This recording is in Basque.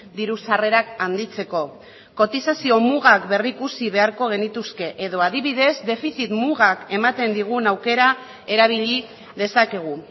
diru sarrerak handitzeko kotizazio mugak berrikusi beharko genituzke edo adibidez defizit mugak ematen digun aukera erabili dezakegu